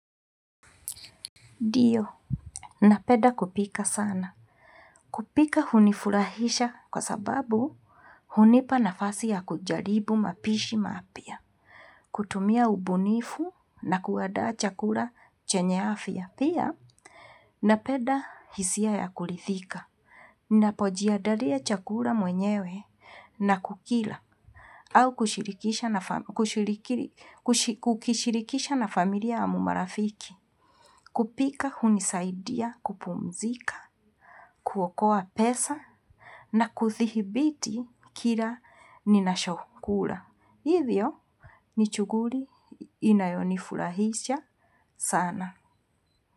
Ndio. Napenda kupika sana. Kupika hunifurahisha kwa sababu hunipa nafasi ya kujaribu mapishi mapya. Kutumia ubunifu na kuandaa chakula chenye afya pia, na peda hisia ya kulithika. Napojiandalia chakula mwenyewe na kukila. Au kushirikisha kukishirikisha na familia ya marafiki. Kupika hunisaidia kupumzika. Kuokoa pesa na kuthihibiti kila ninachokula. Hivyo ni shughuli inayonifurahisha sana.